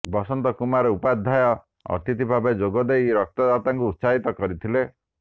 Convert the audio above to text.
ବସନ୍ତ କୁମାର ଉପାଧ୍ୟାୟ ଅତିଥି ଭାବେ ଯୋଗଦେଇ ରକ୍ତଦାତାଙ୍କୁ ଉତ୍ସାହିତ କରିଥିଲେ